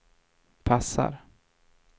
passar